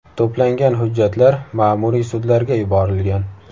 To‘plangan hujjatlar ma’muriy sudlarga yuborilgan.